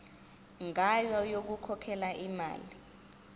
ngayo yokukhokhela imali